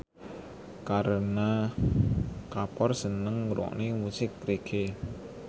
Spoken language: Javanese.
Kareena Kapoor seneng ngrungokne musik reggae